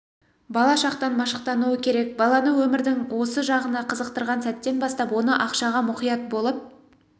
бала шақтан машықтануы керек баланы өмірдің осы жағына қызықтырған сәттен бастап оны ақшаға мұқият болып